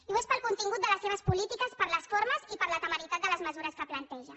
i ho és pel contingut de les seves polítiques per les formes i per la temeritat de les mesures que planteja